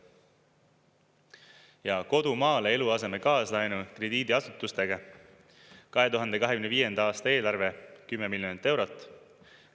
Ja kodu maale eluaseme kaaslaenu krediidiasutustega 2025. aasta eelarve 10 miljonit eurot.